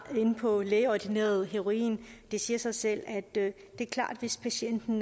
inde på lægeordineret heroin det siger sig selv at hvis patienten